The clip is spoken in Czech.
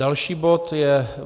Další bod je